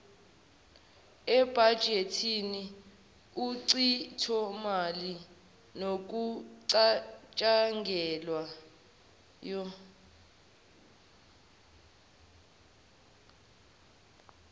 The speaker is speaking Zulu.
ebhajethi uchithomali nokucatshangelwayo